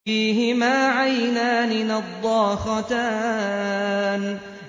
فِيهِمَا عَيْنَانِ نَضَّاخَتَانِ